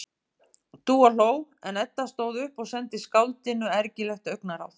Dúa hló, en Edda stóð upp og sendi skáldinu ergilegt augnaráð.